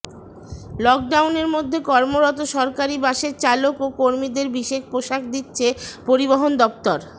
লকডাউনের মধ্যে কর্মরত সরকারি বাসের চালক ও কর্মীদের বিশেষ পোশাক দিচ্ছে পরিবহণ দফতর